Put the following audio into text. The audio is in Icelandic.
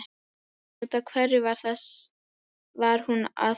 En út af hverju var hún að þessu?